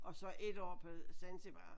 Og så 1 år på Zanzibar